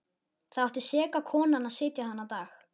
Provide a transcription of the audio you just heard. Þar átti seka konan að sitja þennan dag.